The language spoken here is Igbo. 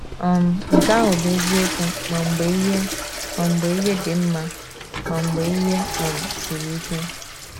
um Nke ahụ bụ eziokwu ma mgbe ihe ma mgbe ihe dị mma ma mgbe ihe um siri ike.